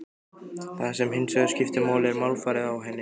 Það sem hins vegar skiptir máli er málfarið á henni.